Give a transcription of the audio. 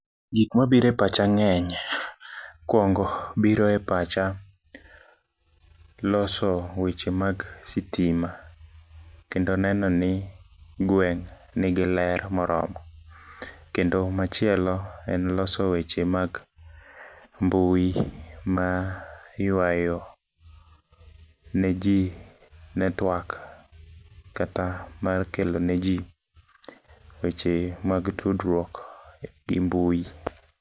Gikma biro e pacha ng'eny. Mokuongo biro e pacha loso weche mag sitima, kendo nenoni gweng' nigi ler moromo, kendo machielo en loso weche mag mbui mayuayo neji network kata mar kelo neji weche mag tudruok gi mbui.